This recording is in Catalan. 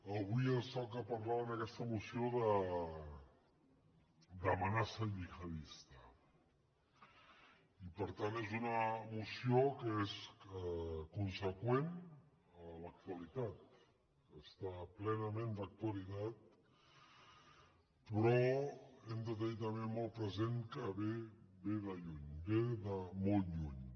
avui ens toca parlar en aquesta moció d’amenaça gihadista i per tant és una moció que és conseqüent a l’actualitat està plenament d’actualitat però hem de tenir també molt present que ve de lluny ve de molt lluny